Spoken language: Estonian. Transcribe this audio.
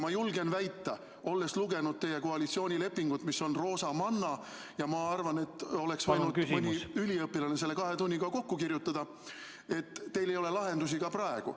Ja olles lugenud teie koalitsioonilepingut, mis on roosamanna ja mille oleks võinud mõni üliõpilane kahe tunniga kokku kirjutada, ma arvan, et teil ei ole lahendusi ka praegu.